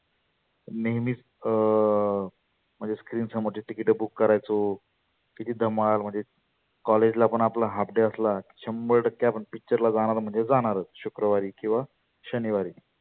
नेहमीच अं म्हणजे screen समोरचे ticket book करायचो. किती धमाल म्हणजे. college ला पण आपला half day की शंभर टक्के आपण picture ला जाणार म्हणजे जाणारच शुक्रवारी किंवा शनिवारी.